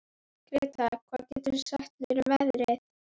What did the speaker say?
Gretar, hvað geturðu sagt mér um veðrið?